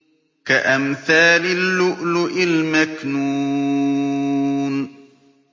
كَأَمْثَالِ اللُّؤْلُؤِ الْمَكْنُونِ